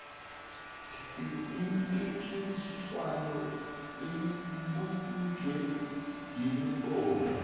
mpikiswano ibunjwe yimibono